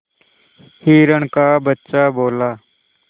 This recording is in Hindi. हिरण का बच्चा बोला